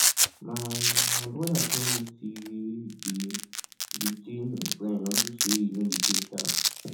my my brother tell me say dey detain im friend unto say e no dey pay tax